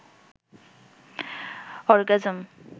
orgasm